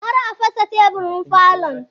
Kar a fasa teburin falon!